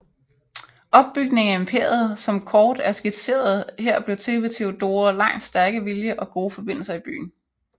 Opbygningen af imperiet som kort er skitseret her blev til ved Theodora Langs stærke vilje og gode forbindelser i byen